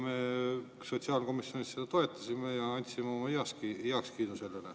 Me sotsiaalkomisjonis seda toetasime ja andsime sellele oma heakskiidu.